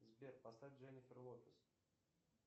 сбер поставь дженнифер лопес